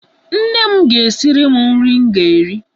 Nne m ga-esiri m nri m ga-eri.